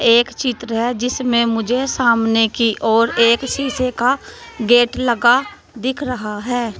एक चित्र है जिसमें मुझे सामने की ओर एक शीशे का गेट लगा दिख रहा है।